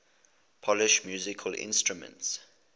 polish musical instruments